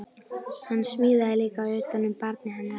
Hann smíðaði líka utan um barnið hennar